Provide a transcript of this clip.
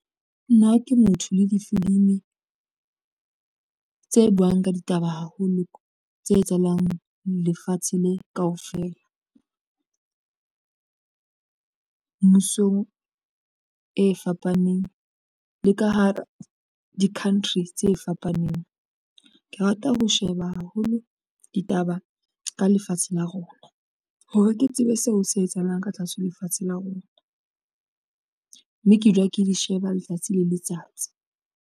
Nna ke motho le difilimi tse buwang ka ditaba haholo tse etsahalang lefatshe le kaofela mmusong e fapaneng, le ka hara di-country tse fapaneng. Ke rata ho sheba haholo ditaba ka lefatshe la rona hore ke tsebe seo se etsahalang ka tlatswe lefatshe la rona, mme ke dula ke di sheba letsatsi le letsatsi.